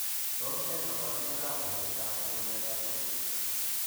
Tos nee koborunoikab butekab kutundab eut?